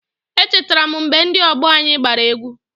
Echetara m mgbe ndị ọgbọ anyị gbara egwu.